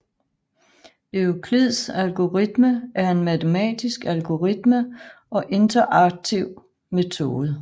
Euklids algoritme er en matematisk algoritme og iterativ metode